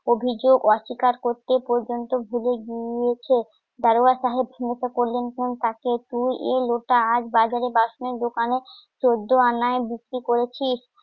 অভিযোগ অস্বীকার করতে পর্যন্ত এ লোটা আজ বাজারে বাসনের দোকানে চোদ্দ অন্যায় বিক্রি করেছিস অভিযোগ অস্বীকার করতে